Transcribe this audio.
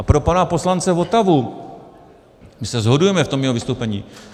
A pro pana poslance Votavu - my se shodujeme v tom jeho vystoupení.